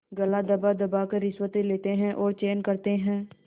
गला दबादबा कर रिश्वतें लेते हैं और चैन करते हैं